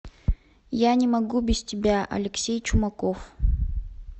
я не могу без тебя алексей чумаков